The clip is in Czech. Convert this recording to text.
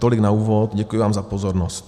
Tolik na úvod, děkuji vám za pozornost.